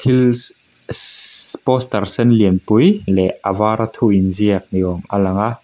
poster sen lianpui leh a var a thu inziak ni awm a lang a.